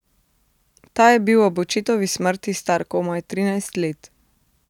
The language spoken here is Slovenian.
Ta je bil ob očetovi smrti star komaj trinajst let.